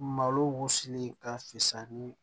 Malo wusuli ka fusa ni